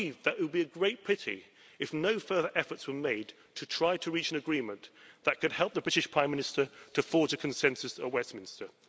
it would be a great pity if no further efforts were made to try to reach an agreement that could help the British Prime Minister to forge a consensus at Westminster.